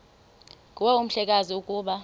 nguwe mhlekazi ukuba